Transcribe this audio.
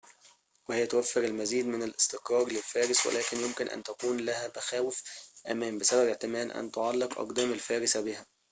وهي توفر المزيد من الاستقرار للفارس ولكن يمكن أن تكون لها مخاوف أمان بسبب احتمال أن تعلق أقدام الفارس بها